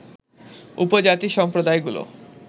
উপজাতি সম্প্রদায়গুলো